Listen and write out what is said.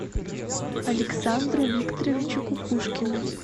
александру викторовичу кукушкину